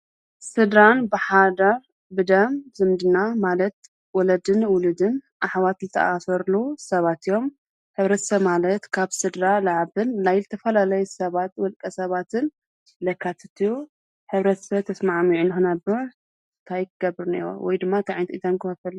ስድራን ብሓዳር፣ ብደም፣ ዝምድና ማለት ወለድን ውሉድን ኣሕዋት ዝተኣሳሰርሉ ሰባት እዮም ።ሕብረተሰብ ማለት ካብ ስድራ ዝዓብን ናይ ዝተፈላለይ ሰባት ወልቀ ሰባትን ዘካትት እዩ። ሕብረተሰብ ተስማዕሚዖም ንክነብር ታይ ክገብር ኣለዎ ወይ ድማ ታይ ዓይነት እጃም ከውፊ ኣለዎ?